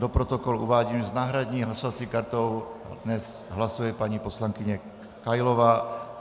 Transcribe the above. Do protokolu uvádím, že s náhradní hlasovací kartou dnes hlasuje paní poslankyně Kailová.